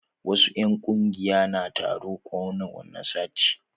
Wasu 'yan ƙungiya na taro kowani sati.